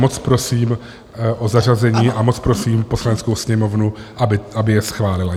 Moc prosím o zařazení a moc prosím Poslaneckou sněmovnu, aby je schválila.